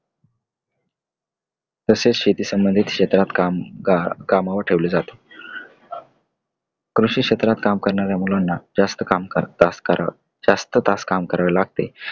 तसेच शेती संबधीत क्षेत्रातील कम्म अं कामावर ठेवले जाते. कृषी क्षेत्रात काम करणाऱ्या मुलांना जास्त तास जास्त तास काम करावे लागते.